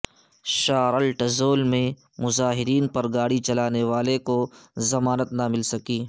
Charlottesville میں مظاہرین پر گاڑی چڑھانے والے کو ضمانت نہ مل سکی